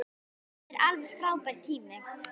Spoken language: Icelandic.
Þetta var alveg frábær tími.